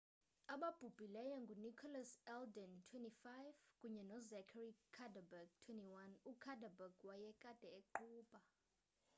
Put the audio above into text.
ababhubhileyo ngunicholas alden 25 kunye nozachary cuddeback 21 ucuddeback wayekade eqhuba